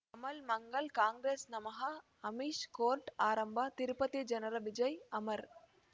ಕಮಲ್ ಮಂಗಳ್ ಕಾಂಗ್ರೆಸ್ ನಮಃ ಅಮಿಷ್ ಕೋರ್ಟ್ ಆರಂಭ ತಿರುಪತಿ ಜನರ ವಿಜಯ ಅಮರ್